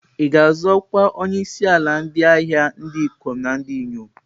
Ị ga-azọ ọkwa onyeisi otu ndị ahịa ndị ikom na ndị inyom.